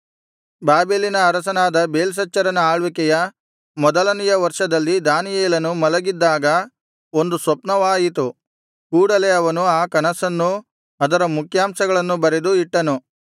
ಬಾಬೆಲಿನ ಅರಸನಾದ ಬೇಲ್ಶಚ್ಚರನ ಆಳ್ವಿಕೆಯ ಮೊದಲನೆಯ ವರ್ಷದಲ್ಲಿ ದಾನಿಯೇಲನು ಮಲಗಿದ್ದಾಗ ಒಂದು ಸ್ವಪ್ನವಾಯಿತು ಕೂಡಲೆ ಅವನು ಆ ಕನಸನ್ನೂ ಅದರ ಮುಖ್ಯಾಂಶಗಳನ್ನೂ ಬರೆದು ಇಟ್ಟನು